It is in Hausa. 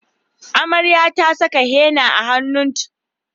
Amarya ta saka henna a hannunt